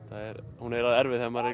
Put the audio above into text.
hún er erfið þegar maður er